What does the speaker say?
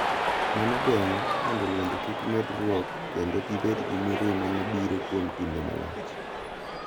Mano geng’o mondo lwenje kik medruok kendo gibed gi mirima ma biro kuom kinde malach .